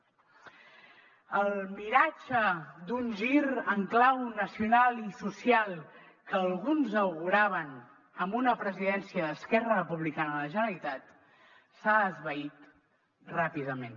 el miratge d’un gir en clau nacional i social que alguns auguraven amb una presidència d’esquerra republicana a la generalitat s’ha esvaït ràpidament